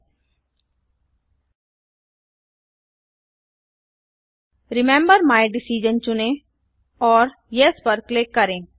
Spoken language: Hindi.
000320 000301 रिमेंबर माय डिसाइजन चुनें और येस पर क्लिक करें